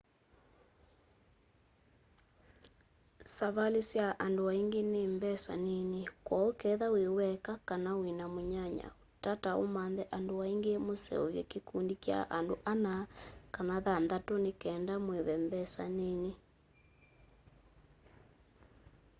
savali sya andũ aingi ni mbesa nini kwooũ ketha wi weka kana wina mũnyanyaũ tata ũmanthe andũ angi mũseovye kikũndi kya andũ ana kana thanthatũ ni kenda mũive mbesa nini